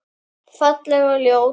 Falleg og ljót.